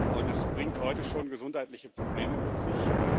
Und es bringt heute schon gesundheitliche Probleme mit sich.